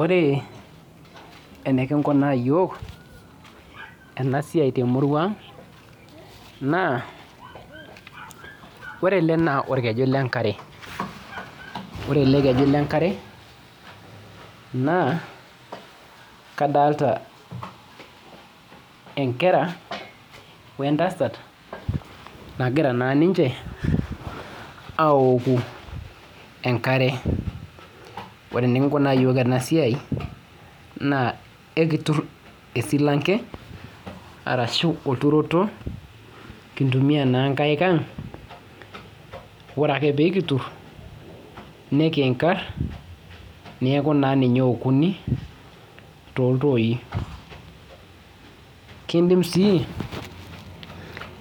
Ore enikikunaa yiok enasiai temurua ang naa , ore ele naa orkejui lenkare , ore elekeju lenkare naa kadalta enkera wentasat nagira naa ninche aoku enkare .Ore enikinkunaa yiok enasiai naa ekitur esilanke arashu olturoroto , kintumia naa nkaik ang ore ake pee kitur nikinkar neaku naa ninye eokuni toltoi. Kindim sii